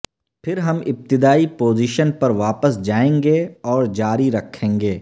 پھر ہم ابتدائی پوزیشن پر واپس جائیں گے اور جاری رکھیں گے